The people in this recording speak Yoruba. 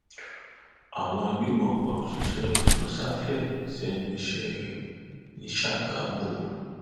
àwọn agbébọn pa òṣìṣẹ sosafe sẹnu iṣẹ ní ṣàgámù